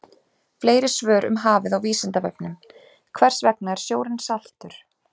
Fleiri svör um hafið á Vísindavefnum: Hvers vegna er sjórinn saltur?